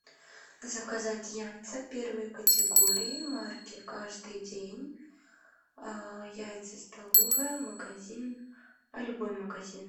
заказать яйца первой категории марки каждый день яйца столовые магазин а любой магазин